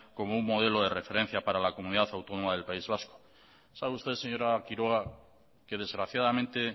como un modelo de referencia para la comunidad autónoma del país vasco sabe usted señora quiroga que desgraciadamente